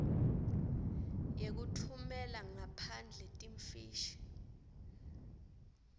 yekutfumela ngaphandle timfishi